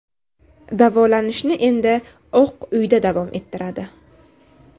Davolanishni endi Oq uyda davom ettiradi.